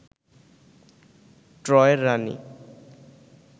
ট্রয়ের রানী